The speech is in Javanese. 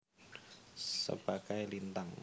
Sebagai Lintang